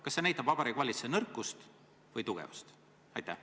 Kas see näitab Vabariigi Valitsuse nõrkust või tugevust?